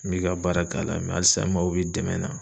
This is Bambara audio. N bɛ ka baara k'a la halisa n mago bɛ dɛmɛn na.